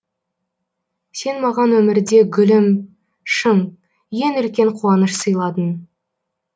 сен маған өмірде гүлім шын ең үлкен қуаныш сыйладың